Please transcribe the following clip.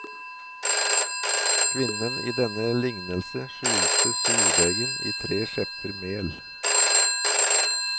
Kvinnen i denne lignelse skjulte surdeigen i tre skjepper mel.